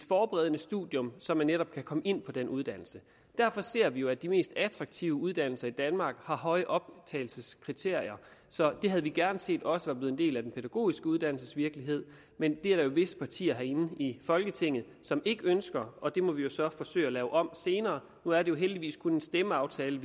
forberedende studium så man netop kan komme ind på den uddannelse derfor ser vi jo at de mest attraktive uddannelser i danmark har høje optagelseskrav så det havde vi gerne set også var blevet en del af den pædagogiske uddannelses virkelighed men det er der jo visse partier herinde i folketinget som ikke ønsker og det må vi jo så forsøge at lave om senere nu er det jo heldigvis kun en stemmeaftale